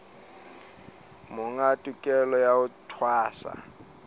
monga tokelo ya ho tshwasa